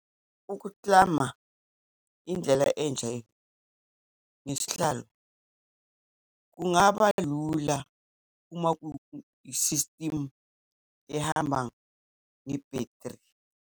Ukuklama indlela entsha ngesihlalo, kungaba lula uma isistimu ehamba ngebhethri.